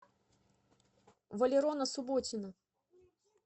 валерона субботина